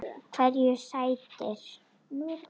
Hverju sætir?